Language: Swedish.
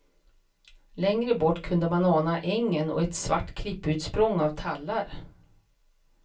Längre bort kunde man ana ängen och ett svart klipputsprång av tallar.